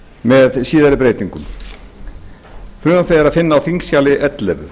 með síðari breytingum frumvarpið er að finna á þingskjali ellefu